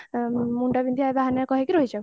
ମୁଣ୍ଡବିନ୍ଧିବା ବାହାନା କହିକି ରହିଯାଉ